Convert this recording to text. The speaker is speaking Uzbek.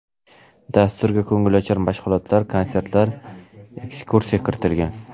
Dasturga ko‘ngilochar mashg‘ulotlar, konsertlar, ekskursiya kiritilgan.